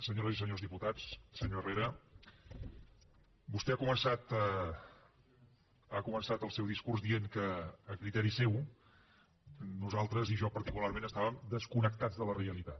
senyores i senyors diputats senyor herrera vostè ha començat el seu discurs dient que a criteri seu nosaltres i jo particularment estàvem desconnectats de la realitat